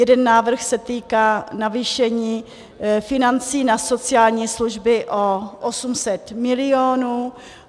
Jeden návrh s týká navýšení financí na sociální služby o 800 milionů.